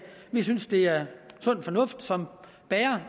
vi synes det er sund fornuft som bærer